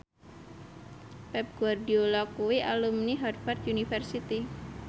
Pep Guardiola kuwi alumni Harvard university